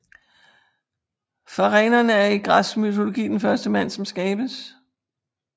Pharenon er i græsk mytologi den første mand som skabes